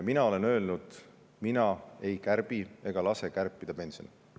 Mina olen öelnud, et mina ei kärbi ega lase kärpida pensione.